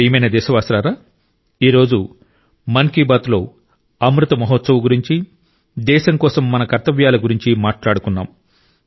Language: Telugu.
నా ప్రియమైన దేశవాసులారా ఈ రోజు మన్ కీ బాత్లో అమృత్ మహోత్సవ్ గురించి దేశం కోసం మన కర్తవ్యాల గురించి మాట్లాడుకున్నాం